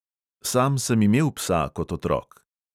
Sam sem imel psa kot otrok.